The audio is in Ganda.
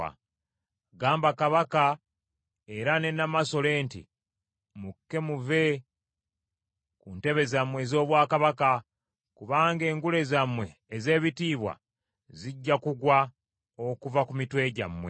Gamba kabaka era ne namasole nti, “Mukke muve ku ntebe zammwe ez’obwakabaka, kubanga engule zammwe ez’ebitiibwa zijja kugwa okuva ku mitwe gyammwe.”